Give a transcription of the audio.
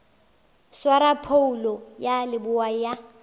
swara phoulo ya leboa ya